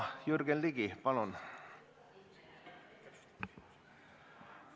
Jürgen Ligi, palun!